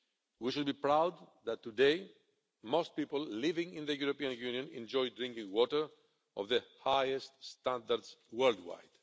We should be proud that today most people living in the European Union enjoy drinking water of the highest standard worldwide.